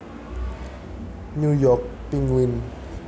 New York Penguin